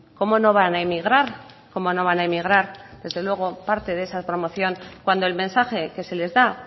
cómo no van a emigrar cómo no van a emigrar desde luego parte de esa promoción cuando el mensaje que se les da